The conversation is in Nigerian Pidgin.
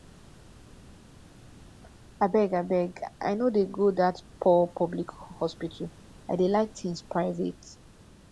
abeg abeg i no dey go dat poor public hospital i dey like things private